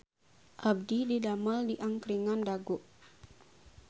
Abdi didamel di Angkringan Dago